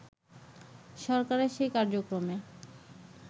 সরকারের সেই কার্যক্রমে